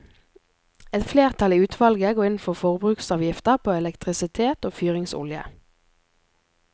Et flertall i utvalget går inn for forbruksavgifter på elektrisitet og fyringsolje.